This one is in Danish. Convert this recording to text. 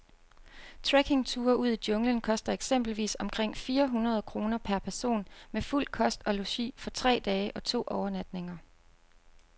Trekkingture ud i junglen koster eksempelvis omkring fire hundrede kroner per person med fuld kost og logi for tre dage og to overnatninger.